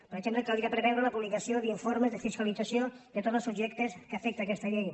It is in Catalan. per exemple caldria preveure la publicació d’informes de fiscalització de tots els subjectes que afecta aquesta llei